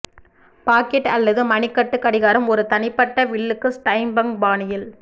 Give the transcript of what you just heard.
packet அல்லது மணிக்கட்டு கடிகாரம் ஒரு தனிப்பட்ட வில்லுக்கு ஸ்டைம்ப்ங்க் பாணியில்